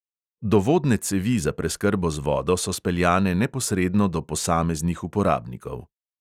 Dovodne cevi za preskrbo z vodo so speljane neposredno do posameznih uporabnikov.